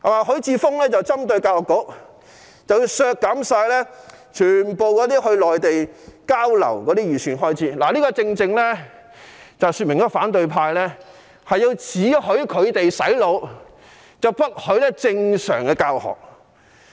許智峯議員針對教育局，提出削減全部前往內地交流的預算開支，這正正說明反對派只許他們"洗腦"，不許正常教學。